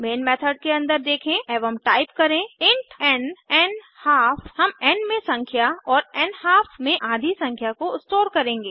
main method के अन्दर देखें एवं टाइप करें इंट एन न्हाल्फ हम एन में संख्या और न्हाल्फ में आधी संख्या को स्टोर करेंगे